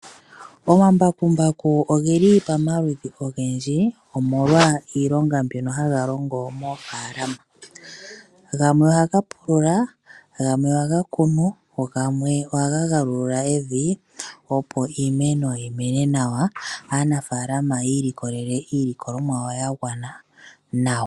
Omambakumbaku ogeli pamaludhi ogendji omolwa iilonga mbyono haga longo moofaalama . Gamwe ohaga pulula, gamwe ohaga kunu, go gamwe ohaga galagula evi opo iimeno yimene nawa, aanafaalama ya ilikolele mo iilikolomwa yawo yagwana nawa.